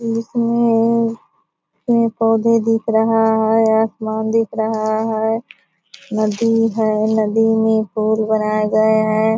इसमें पेड़-पौधे दिख रहा है आसमान दिख रहा है नदी है नदी में पुल बनाए गये है।